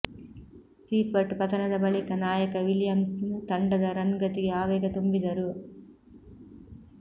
Seifert ಪತನದ ಬಳಿಕ ನಾಯಕ ವಿಲಿಯಮ್ಸನ್ ತಂಡದ ರನ್ ಗತಿಗೆ ಆವೇಗ ತುಂಬಿದರು